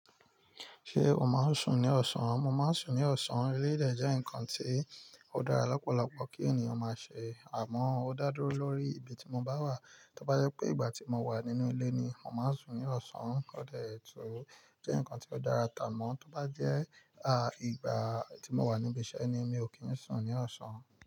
Ṣé o máa ń sùn ní ọ̀sán? Mo máa ń sùn ní ọ̀sán, èlèyi dẹ̀ jẹ́ nǹkan tí ó dára lọ́pọ̀lọpọ̀ kí ènìyàn máa ṣe. Àmọ́, ó dá dúró lórí ibi tí mo bá wà. Tó bá jẹ́ pé ìgbà tí mo wà nínú ilé ni, mo màá sùn ní ọ̀sán. Kódà ètò jẹ́ nǹkan tí ó dára tá mọ́, tí ó bá jẹ́ ìgbà tí mo wà ní ibi iṣẹ́ ni, mi ò kí ń sùn ní ọ̀sán.